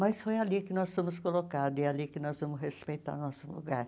Mas foi ali que nós fomos colocados e ali que nós vamos respeitar nosso lugar.